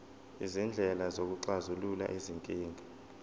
izindlela zokuxazulula izinkinga